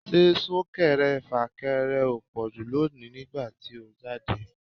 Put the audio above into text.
Ṣé Sún-kẹrẹ-fà-kẹrẹ ò pọ̀jù lónìí nígbà tí ó jáde?